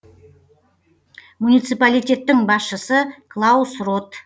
муниципалитеттің басшысы клаус рот